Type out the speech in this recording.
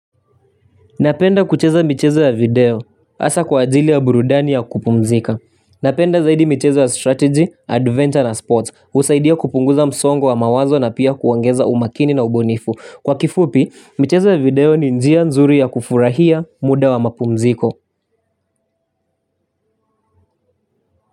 Napenda kucheza michezo ya video. Asa kwa ajili ya burudani ya kupumzika. Napenda zaidi michezo ya strategy, adventure na sports. Husaidia kupunguza msongo wa mawazo na pia kuongeza umakini na ubunifu. Kwa kifupi, michezo ya video ni njia nzuri ya kufurahia muda wa mapumziko.